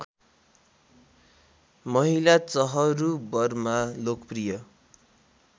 महिला चहरूबरमा लोकप्रिय